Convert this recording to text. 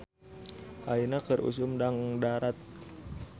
"Ayeuna keur usum dangdarat "